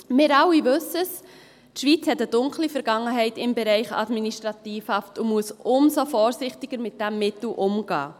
Wir alle wissen: Die Schweiz hat eine dunkle Vergangenheit im Bereich Administrativhaft und muss umso vorsichtiger mit diesem Mittel umgehen.